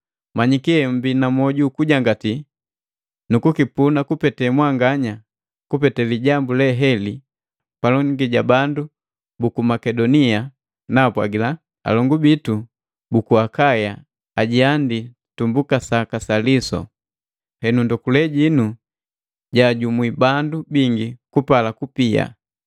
Manyiki eummbii na mwoju ukujangatii, nikipuna kupete mwanganya kupete lijambu haleli palongi ja bandu buku Makedonia naapwagila, “Alongu bitu buku Akaya ajiandii tumbuka saka sa lisu.” Henu ndokule jinu jaajumwi bandu bingi kupala kupia.